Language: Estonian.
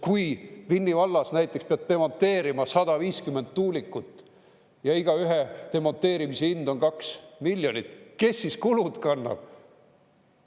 Kui Vinni vallas näiteks pead demonteerima 150 tuulikut ja igaühe demonteerimise hind on 2 miljonit, kes siis kulud kannab?